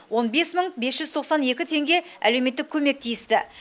он бес мың бес жүз тоқсан екі теңге әлеуметтік көмек тиісті